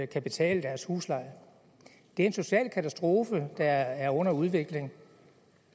kan betale deres husleje det er en social katastrofe der er under udvikling